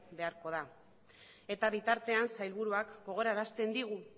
beharko da eta bitartean sailburuak gogorarazten digu